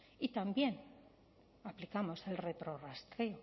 y también aplicamos el retrorrastreo